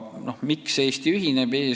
Miks Eesti ühineb?